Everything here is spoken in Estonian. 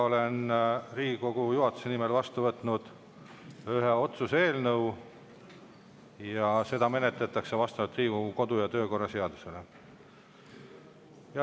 Olen Riigikogu juhatuse nimel vastu võtnud ühe otsuse eelnõu ja seda menetletakse vastavalt Riigikogu kodu- ja töökorra seadusele.